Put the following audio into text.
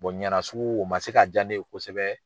Ɲana sugu o man se ka jaa ne ye kosɛbɛ.